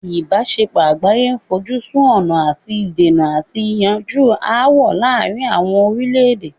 ìbáṣepọ̀ àgbáyé fojú sun ọ̀nà àti dènà àti yanjú ááwọ̀ láàrin àwọn orílẹ̀-èdè.